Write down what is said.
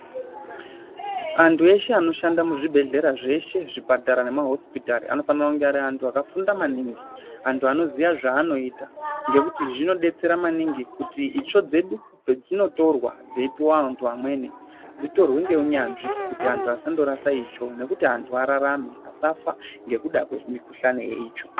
Antu eshe anoshanda muzvibhedhlera zveshe muzvipatara nemahosipitari anofanira kunge ari antu akafunda maningi antu anoziya zvanoita. Ngekuti zvinodetsera maningi kuti itsvo dzedu pedzinotorwa kuti dzipuve vantu vamweni dzitorwe ngeunyanzvi kuti antu asando rasa itsvo. Ngekuti antu ararame ngekuda kwamikuhlani yeitsvo.